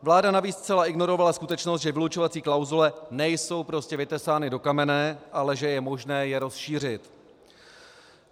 Vláda navíc zcela ignorovala skutečnost, že vylučovací klauzule nejsou prostě vytesány do kamene, ale že je možné je rozšířit.